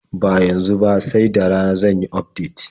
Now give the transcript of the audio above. Ba yanzu ba, sai da rana zan yi ufdet.